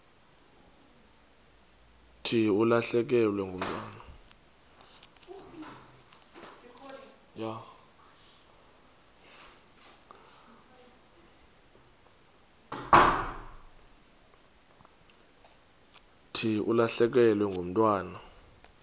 thi ulahlekelwe ngumntwana